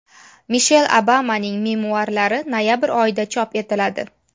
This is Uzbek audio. Mishel Obamaning memuarlari noyabr oyida chop etiladi.